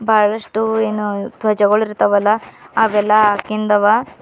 ಬಹಳಷ್ಟು ಎನೋ ಧ್ವಜಗಳು ಇರ್ತವಲ ಅವೆಲ್ಲ ಹಾಕಿಂದವ.